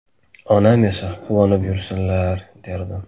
Onam esa quvonib yursinlar”, derdim.